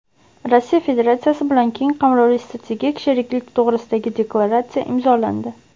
Rossiya Federatsiyasi bilan keng qamrovli strategik sheriklik to‘g‘risidagi deklaratsiya imzolandi.